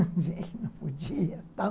Não podia e tal